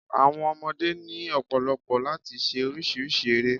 Àwọn ọmọdé ni ọ̀pọ̀lọ̀pọ̀ láti se orísírìsí ere